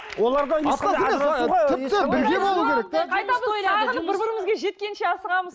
оларда бір бірімізге жеткенше асығамыз